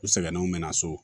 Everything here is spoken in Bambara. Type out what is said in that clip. U sɛgɛnnenw me na so